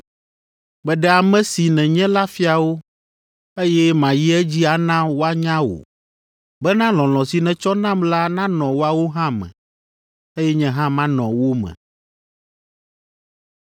Meɖe ame si nènye la fia wo, eye mayi edzi ana woanya wò, bena lɔlɔ̃ si nètsɔ nam la nanɔ woawo hã me, eye nye hã manɔ wo me.”